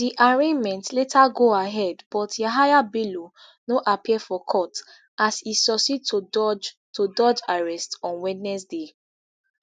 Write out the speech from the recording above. di arraignment later go ahead but yahaya bello no appear for court as e succeed to dodge to dodge arrest on wednesday